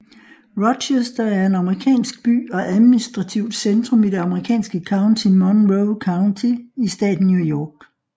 Rochester er en amerikansk by og administrativt centrum i det amerikanske county Monroe County i staten New York